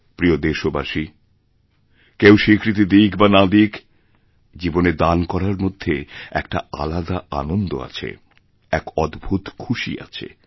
প্রিয় দেশবাসী কেউ স্বীকৃতি দিক বানা দিক জীবনে দান করার মধ্যে এক আলাদা আনন্দ আছে এক অদ্ভুত খুশি আছে